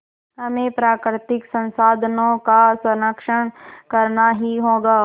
हमें प्राकृतिक संसाधनों का संरक्षण करना ही होगा